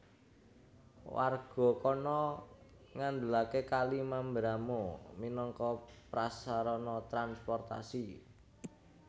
Warga kana ngandelaké Kali Mamberamo minangka prasarana transportasi